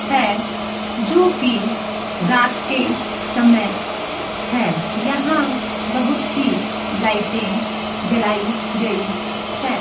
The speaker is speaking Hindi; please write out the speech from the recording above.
है जो की रात के समय है यहां बहुत सी लाइटे जलाई गई है।